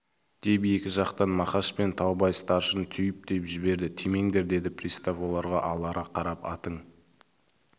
деп екі жақтан мақаш пен таубай старшын түйіп-түйіп жіберді тимеңдер деді пристав оларға алара қарап атың